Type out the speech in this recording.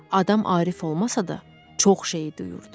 Adam arif olmasa da, çox şeyi duyurdu.